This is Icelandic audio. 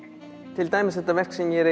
til dæmis þetta verk sem ég